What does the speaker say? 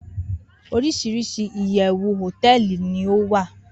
orisirisi iyewu hoteeli ni owa